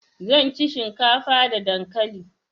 zan ci shinkafa da dankali